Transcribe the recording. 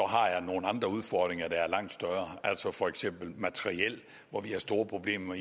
har jeg nogle andre udfordringer der er langt større altså for eksempel vedrørende materiel hvor vi har store problemer